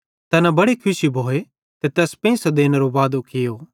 तैना बड़े खुशी भोए ते तैस पेंइसे देनेरो वादो कियो